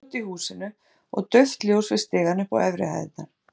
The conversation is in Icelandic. Allt var hljótt í húsinu og dauft ljós við stigann upp á efri hæðirnar.